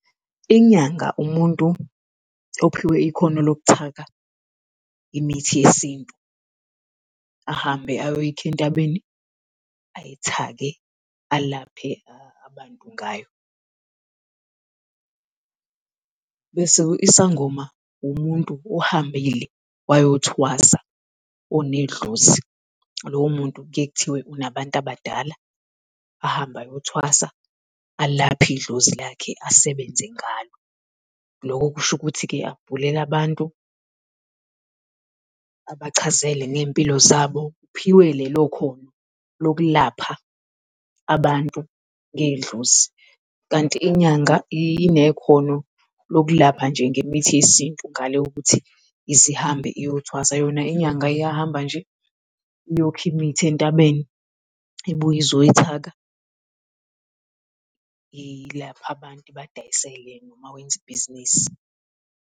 Inyanga umuntu ophiwe ikhono lokuthaka imithi yesintu, ahambe ayoyikha entabeni ayithake alaphe abantu ngayo. Bese isangoma umuntu ohambile wayothwasa onedlozi, lowo muntu kuye kuthiwe unabantu abadala, ahambe ayothwasa alaphe idlozi lakhe asebenze ngalo. Loko kusho ukuthi-ke abhulele abantu, abachazele ney'mpilo zabo, uphiwe lelo khono lokulapha abantu ngedlozi. Kanti inyanga inekhona lokulapha nje ngemithi yesintu ngale kokuthi ize ihambe uyothwasa yona inyanga iyahamba nje iyokha imithi entabeni ibuye izoyithaka ilaphe abantu ibadayisele noma wenze ibhizinisi.